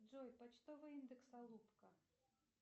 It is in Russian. джой почтовый индекс алупка